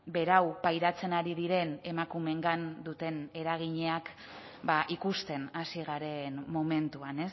berau pairatzen ari diren emakumeengan duten eraginak ikusten hasi garen momentuan